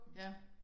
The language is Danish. Ja